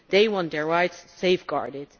They want their rights safeguarded.